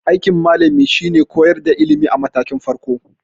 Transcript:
Aikin malami shine koyar da ilimi a matakin farko.